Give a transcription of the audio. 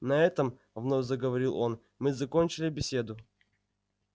на этом вновь заговорил он мы закончили беседу